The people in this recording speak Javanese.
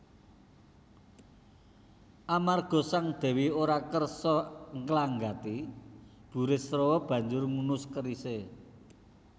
Amarga Sang Dèwi ora kersa nglanggati Burisrawa banjur ngunus kerisé